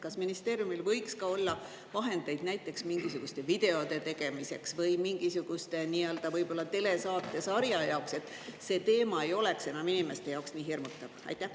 Kas ministeeriumil võiks ka olla vahendeid näiteks mingisuguste videote tegemiseks või võib-olla mingisuguste telesaatesarja jaoks, et see teema ei oleks enam inimeste jaoks nii hirmutav?